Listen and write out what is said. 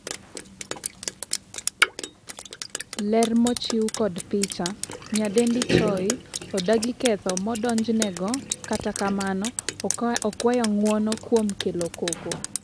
ler mochiw kod picha, nyadendi Choi odagi ketho modonjnego ,kata kamano okwayo ng'uono kuom kelo koko